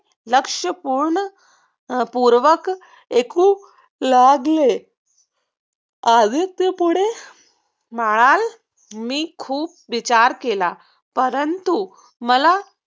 लक्ष्य पूर्ण पूर्वक ऐकू लागले. आदित्य पुढे मानलं मी खूप विचार केला परंतु मला